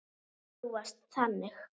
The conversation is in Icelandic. Þú varst þannig.